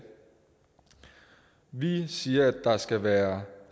vi siger at der skal være